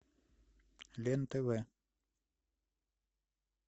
лен тв